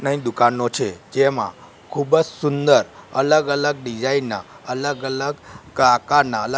નઈ દુકાનનો છે જેમાં ખૂબજ સુંદર અલગ અલગ ડિઝાઇન ના અલગ અલગ કાકાના--